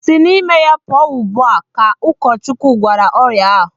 Si n'ime ya pụọ ugbu a! Ka Ụkọchukwu gwara ọrịa ahụ.